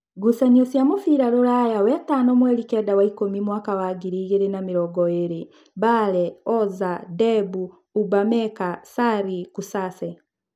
Ngucanio cia mũbira Ruraya Wetano mweri kenda wa ikũmi mwaka wa ngiri igĩrĩ na mĩrongoĩrĩ: Bale, Oza, Ndembu, Ubameka, Sari, Kusase